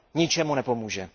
ničemu nepomůže.